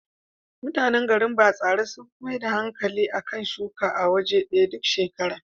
Mutanan garin Batsari sun fi maida hankali a kan shuka a waje ɗaya duk shekara.